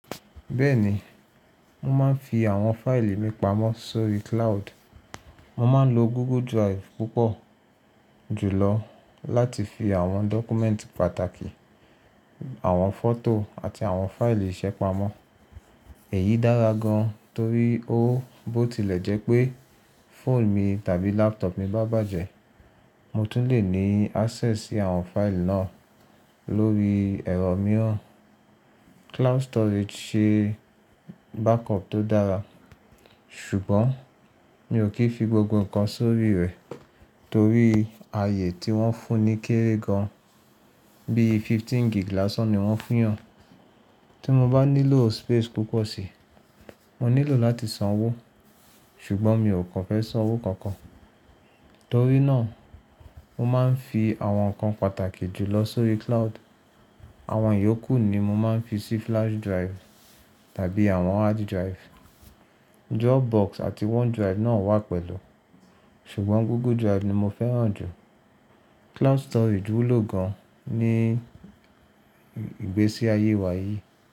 Bẹ́ẹ̀ni, mo máa ń fi àwọn fáìlì mi pamọ́ sórí cloud. Mo máa ń lo Google Drive púpọ̀ jùlọ láti fi àwọn document pàtàkì, àwọn fọ́tò àti àwọn fáìlì ìṣe pamọ́. Èyí dára gan torí ó bó tilẹ̀ jẹ́ pé fóònù mi tàbí laptop mi bá bàjẹ́, mo tún lè ní access sí àwọn fáìlì náà lórí ẹ̀rọ mìíràn. Cloud storage ṣe backup tó dára, ṣùgbọ́n mi ò kí fi gbogbo nǹkan sórí rẹ̀ torí ààyè tí wọ́n fún ni kéré gan, bí fifteen gig láṣan ni wọ́n yàn. Tí mo bá nílò space púpọ̀ síi, mo nílò láti san owó, ṣùgbọ́n mi ò kàn fẹ́ san owó kankan. Torí náà, mo máa ń fi àwọn nǹkan pàtàkì jùlọ sórí cloud. Àwọn ìyókù ni mo máa ń fi sí flash drive tàbí àwọn hard drive. Dropbox àti OneDrive náà wà pẹ̀lú, ṣùgbọ́n Google Drive ni mo fẹ́ràn jù. Cloud storage wúlò gan ní ìgbésí ayé wa yìí.